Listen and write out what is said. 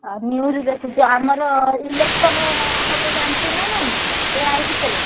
ଆଉ news ଦେଖୁଛୁ ଆମର election ହବ ଜାଣିଛୁ ନାଁ ନାଇଁ ଏଇ ୟାରିଭିତରେ।